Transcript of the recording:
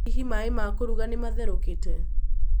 Hihi maaĩ ma kũruga nĩ mathĩrũkĩtĩ?